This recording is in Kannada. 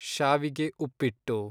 ಶಾವಿಗೆ ಉಪ್ಪಿಟ್ಟು